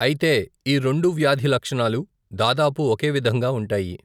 ఐతే ఈ రెండు వ్యాధి లక్షణాలు దాదాపు ఒకే విధంగా ఉంటాయి.